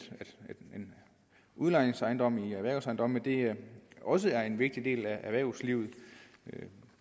en udlejningsejendom i erhvervsejendomme også er en vigtig del af erhvervslivet